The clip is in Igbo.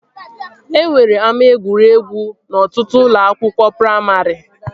E nwere ama egwuregwu n'ọtụtụ ụlọ akwụkwọ praimarị